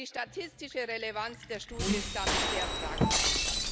Die statistische Relevanz der Studie ist damit sehr fragwürdig.